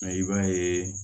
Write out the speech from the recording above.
Mɛ i b'a ye